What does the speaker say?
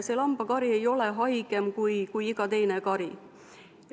See lambakari ei ole haigem kui iga teine kari.